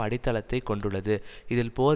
அடித்தளத்தை கொண்டுள்ளது இதில் போர்